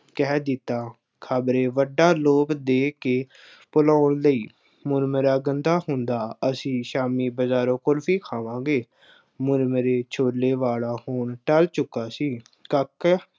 ਕਹਿ ਦਿੱਤਾ, ਖਬਰੇ ਵੱਡਾ ਲੋਭ ਦੇ ਕੇ ਭੁਲਾਉਣ ਲਈ ਮੁਰਮਰਾ ਗੰਦਾ ਹੁੰਦਾ, ਅਸੀਂ ਸ਼ਾਮੀ ਬਜ਼ਾਰੋਂ ਕੁਲਫੀ ਖਾਵਾਂਗੇ। ਮੁਰਮਰੇ ਛੋਲੇ ਵਾਲਾ ਹੁਣ ਟਲ ਚੁੱਕਾ ਸੀ। ਕਾਕਾ